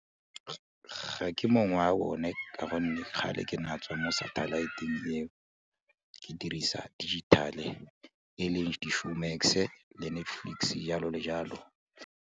Ga ke mongwe wa bone ka gonne kgale ke na tswa mo satellite-eng eo, ke dirisa digital-e e leng di-Showmax le Netflix jalo le jalo.